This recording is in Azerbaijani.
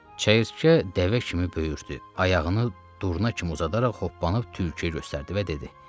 Çəyirtkə dəvə kimi böyürdü, ayağını durna kimi uzadaraq hoppanıb tülküyə göstərdi və dedi: